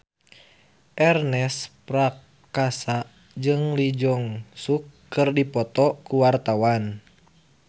Ernest Prakasa jeung Lee Jeong Suk keur dipoto ku wartawan